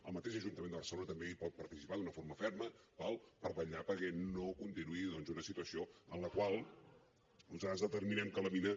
el mateix ajuntament de barcelona també hi pot participar d’una forma ferma d’acord per vetllar perquè no continuï doncs una situació en la qual nosaltres determinem que la mina